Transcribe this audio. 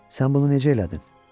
Sən bunu necə elədin?